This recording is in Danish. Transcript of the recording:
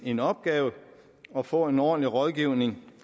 en opgave at få en ordentlig rådgivning